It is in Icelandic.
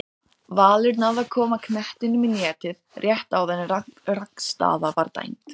Ég ætla sko ekki að fara að snikka mig til eftir þeirra höfði.